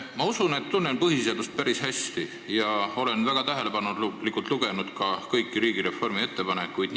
Ma usun, et tunnen põhiseadust päris hästi, ja olen väga tähelepanelikult lugenud ka kõiki riigireformi kohta tehtud ettepanekuid.